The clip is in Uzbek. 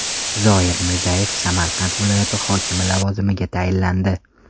Zoyir Mirzayev Samarqand viloyati hokimi lavozimiga tayinlandi.